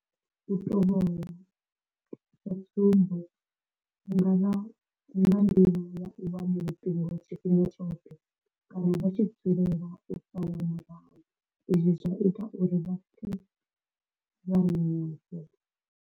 U tovholasa tsumbo hu nga vha nga nḓila ya u wana luṱingo tshifhinga tshoṱhe kana vha tshi dzulela u salwa murahu izwi zwa ita uri vha pfe vha na nyofho.